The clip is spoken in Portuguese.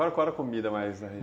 Qual era era a comida mais